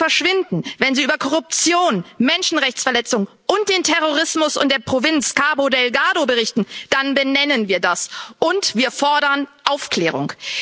Wenn sie verschwinden, wenn sie über Korruption, Menschenrechtsverletzungen und den Terrorismus in der Provinz Cabo Delgado berichten, dann benennen wir das, und wir fordern Aufklärung.